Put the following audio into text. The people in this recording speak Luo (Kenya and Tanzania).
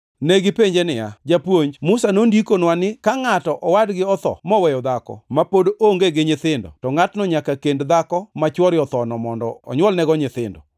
Negipenje niya, “Japuonj, Musa nondikonwa ni ka ngʼato owadgi otho moweyo dhako ma pod onge gi nyithindo, to ngʼatno nyaka kend dhako ma chwore othono mondo onywolnego nyithindo.